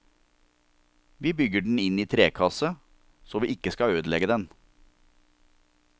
Vi bygger den inn i trekasse, så vi ikke skal ødelegge den.